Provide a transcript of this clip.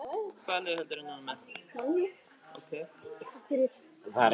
En hvað ertu að gera þarna?